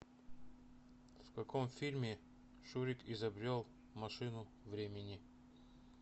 в каком фильме шурик изобрел машину времени